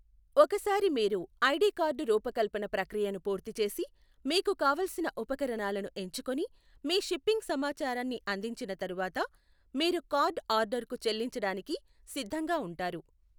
ఒకసారి మీరు ID card రూపకల్పన ప్రక్రియను పూర్తి చేసి, మీకు కావలసిన ఉపకరణాలను ఎంచుకుని, మీ షిప్పింగ్ సమాచారాన్ని అందించిన తర్వాత, మీరు కార్డ్ ఆర్డర్కు చెల్లించడానికి సిద్ధంగా ఉంటారు.